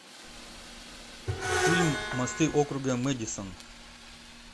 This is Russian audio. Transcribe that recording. фильм мосты округа мэдисон